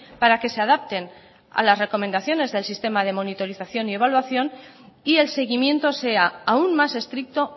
para que se adapten a las recomendaciones del sistema de monitorización y evaluación y el seguimiento sea aún más estricto